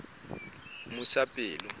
mmusapelo